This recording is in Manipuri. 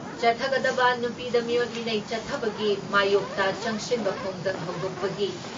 ꯆꯠꯊꯒꯗꯕ ꯅꯨꯄꯤꯗ ꯃꯤꯑꯣꯠ ꯃꯤꯅꯩ ꯆꯠꯊꯕꯒꯤ ꯃꯥꯌꯣꯛꯇ ꯆꯪꯁꯤꯟꯕ ꯈꯣꯡꯖꯪ ꯍꯧꯗꯣꯛꯄꯒꯤ